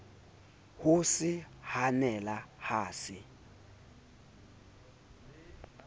ho se hanela ha se